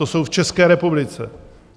To jsou v České republice!